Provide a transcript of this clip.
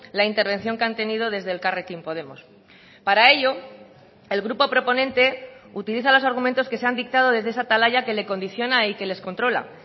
la intervención que han tenido desde elkarrekin podemos para ello el grupo proponente utiliza los argumentos que se han dictado desde esa atalaya que le condiciona y que les controla